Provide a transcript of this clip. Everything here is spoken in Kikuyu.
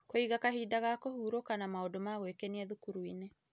Kũiga kahinda ga kũhurũka na maũndũ ma gwĩkenia thukuru-inĩ